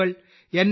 മുകൾ എൻ